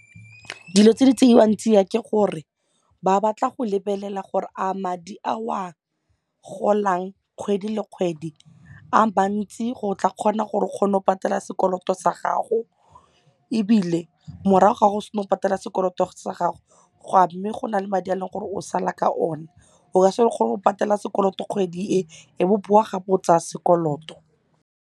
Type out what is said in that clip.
Dilo tse di tseiwang tsiya ke gore ba batla go lebelela gore a madi a o a golang kgwedi le kgwedi a mantsi go tla kgona gore o kgone go patele sekoloto sa gago ebile morago ga go sena go patela sekoloto sa gago a mme go na le madi a leng gore o sala ka one o ka se re patela sekoloto kgwedi e e bo bowa gape tsaya sekoloto.